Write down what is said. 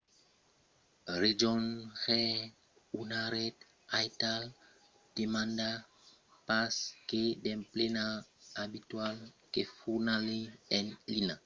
rejónher una ret aital demanda pas que d'emplenar abitualament un formulari en linha; encara que qualques rets prepausen o demanden de verificacions complementàrias